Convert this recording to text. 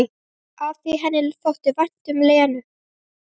Af því henni þótti vænt um Lenu.